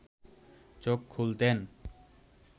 চোখ খুলতেন